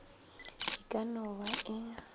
e ka no ba e